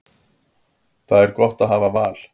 Það er gott að hafa val.